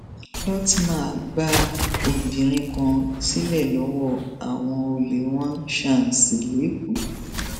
lótma gba obìnrin kan sílẹ lọwọ àwọn olè wá ṣàǹsí lẹkọọ